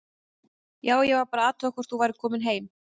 Já, ég var bara að athuga hvort þú værir komin heim.